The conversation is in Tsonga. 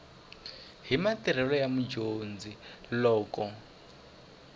hi matirhelo ya mudyondzi loko